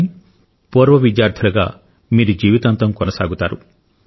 కానీ పూర్వ విద్యార్థులుగా మీరు జీవితాంతం కొనసాగుతారు